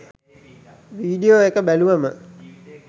video එක බැලුවම